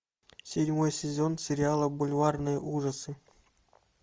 седьмой сезон сериала бульварные ужасы